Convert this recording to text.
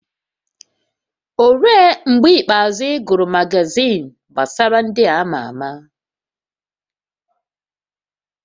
Olee mgbe ikpeazụ ị gụrụ magazin gbasara ndị a ma ama?